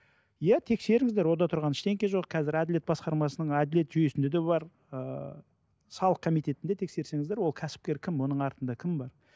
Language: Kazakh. иә тексеріңіздер онда тұрған ештеңе жоқ қазір әділет басқармасының әділет жүйесінде де бар ыыы салық комитетінде тексерсеңіздер ол кәсіпкер кім оның артында кім бар